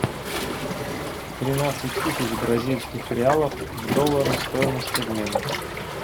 тринадцать тысяч бразильских реалов в доллары стоимость обмена